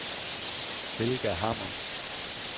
Helga Hammer